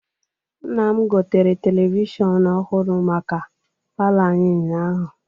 Nna m gotere televishọnụ ọhụrụ maka palọ anyị ụnyaahụ.